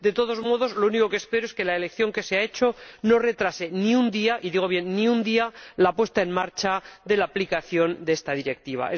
De todos modos, lo único que espero es que la elección que se ha hecho no retrase ni un día ―y digo bien ni un día― la puesta en marcha de la aplicación de esta Directiva.